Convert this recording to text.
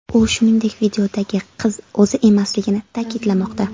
U, shuningdek, videodagi qiz o‘zi emasligini ta’kidlamoqda .